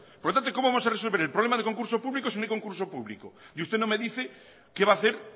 por lo tanto cómo vamos a resolver el problema de concurso público si no hay concurso público usted no me dice qué va a hacer